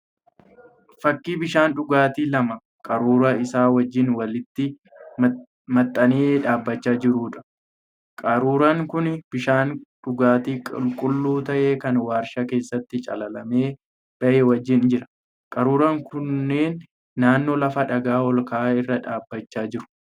Fakkii bishaan dhugaatii lama qaruuraa isaa wajjin walitti maxxanee dhaabbachaa jiruudha. Qaruuraan kun bishaan dhugaatii qulqulluu ta'e kan warshaa keessatti calalamee bahe wajjin jira. Qaruuraan kunneen naannoo lafa dhagaa ol ka'aa irra dhaabbachaa jiru.